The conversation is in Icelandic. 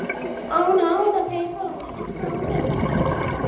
Myrkrið breytir öllu.